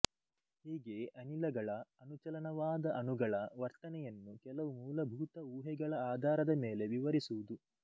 ಹೀಗೆ ಅನಿಲಗಳ ಅಣುಚಲನವಾದ ಅಣುಗಳ ವರ್ತನೆಯನ್ನು ಕೆಲವು ಮೂಲಭೂತ ಊಹೆಗಳ ಆಧಾರದ ಮೇಲೆ ವಿವರಿಸುವುದು